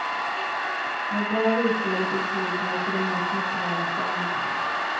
Med bra virke och lite tid kan du till och med snickra en själv.